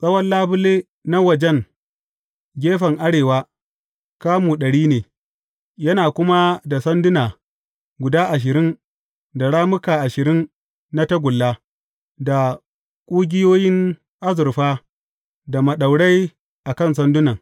Tsawon labule na wajen gefen arewa kamu ɗari ne, yana kuma da sanduna guda ashirin da rammuka ashirin na tagulla, da ƙugiyoyin azurfa da maɗaurai a kan sandunan.